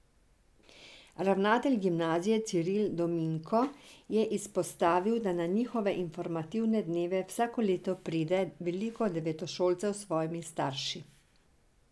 Ravnatelj gimnazije Ciril Dominko je izpostavil, da na njihove informativne dneve vsako leto pride veliko devetošolcev s svojimi starši.